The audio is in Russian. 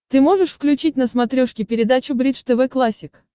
ты можешь включить на смотрешке передачу бридж тв классик